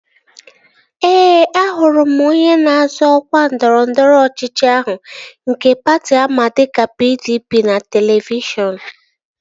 Ee, ahụrụ m onye na-azọ ọkwa ndọrọndọrọ ọchịchị ahụ nke patị ama dịka PDP n'televishọn